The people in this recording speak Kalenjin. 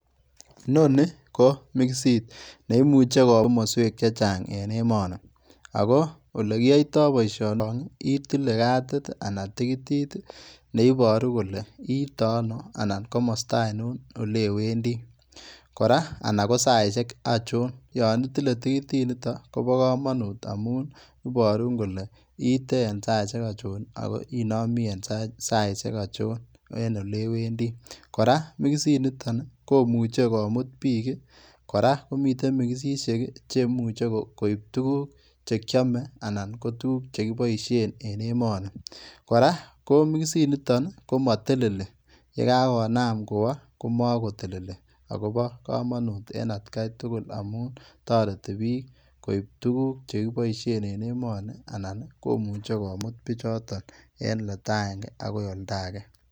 Inonii ii ko mixiit neimuchei kowaa komosweek chechaang en emanii ago ole kiyaitaa boisionon itile katiit ii anan tikitiit neibaruu kole iite ano anan komosta ainon ole wendii anan ko sait ainoon yaan itile tikitiit nitoon koba kamanut amuun ibaruun kole iite en saisiek achoon ako inamii en saisiek achoon en ole wendii kora mixiit nitoon ii komuuchei kimuut biik ii kora ko komiteen mixixiek cheimuchei koib tuguuk che kiyame anan ko tuguuk che kibaisheen en emanii kora ko mixiit nitoon ko matelelii ye ka konam kowah komakotelelii kora kobo kamunuut en at gai tugul amuun taretii biik koib tuguuk che kibaisheen en emanii ago imuche komuut Bichooto en oldai agenge agoinoldaegei.